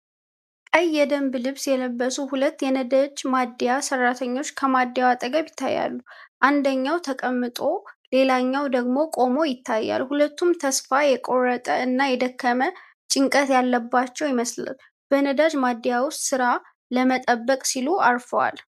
ቀይ የደንብ ልብስ የለበሱ ሁለት የነዳጅ ማደያ ሠራተኞች ከማደያው አጠገብ ይታያሉ። አንደኛው ተቀምጦ ሌላኛው ደግሞ ቆሞ ይታያል፤ ሁለቱም ተስፋ የቆረጠ እና የደከመ ጭንቀት ያለባቸው ይመስላል። በነዳጅ ማደያ ውስጥ ሥራ ለመጠበቅ ሲሉ አርፈዋል።